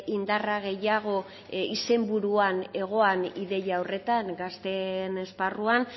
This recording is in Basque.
indarra gehiago izenburuan egoan ideia horretan gazteen esparruan